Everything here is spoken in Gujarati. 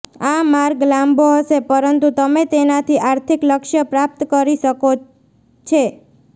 આ માર્ગ લાંબો હશે પરંતુ તમે તેનાથી આર્થિક લક્ષ્ય પ્રાપ્ત કરી શકો છે